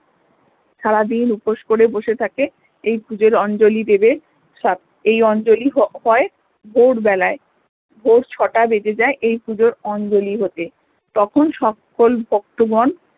সারা দিন উপোস করে বসে থাকে এই পূজোর অঞ্জলি দেবে সব এই অঞ্জলি হয় ভোরবেলায় ভোর ছটা বেজে যায় এই পূজার অঞ্জলি হতে তখন সকল ভক্তগন